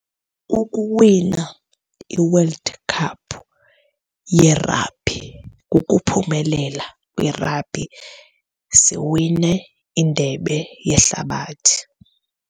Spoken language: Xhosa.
Kukuwina iWorld Cup yerabhi. Kukuphumelela kwirabhi, siwine indebe yehlabathi.